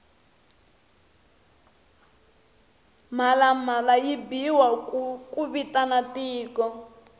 mhlalamhlala yi biwa ku vitana tiko